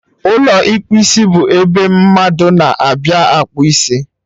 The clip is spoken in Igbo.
Ụlọ ịkpụ isibụ ebe ndị mmadụ na-abịa akpụ isi